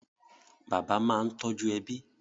Bàbá máa ń tọ́jú ẹbí